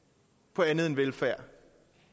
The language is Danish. på andet end velfærd